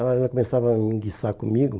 Ela já começava a enguiçar comigo.